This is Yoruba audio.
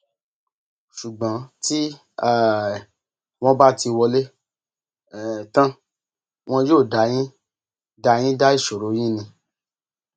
ṣùgbọn tí um wọn bá ti wọlé um tán wọn yóò dá yín dá yín dá ìṣòro yín ni